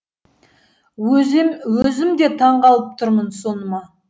өзім де таңғалып тұрмын соныма